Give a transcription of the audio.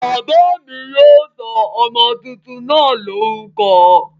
Bàbá mi yóò sọ ọmọ tuntun náà lórúkọ